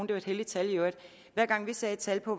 det var et helligt tal i øvrigt hver gang vi satte et tal på